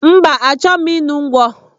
Mba, achoghi m ịṅụ ngwọ.